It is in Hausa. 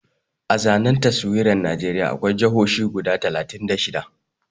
A zanen taswirar Najeriya akwai jahohi guda talatin da shida